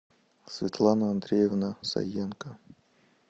светлана андреевна саенко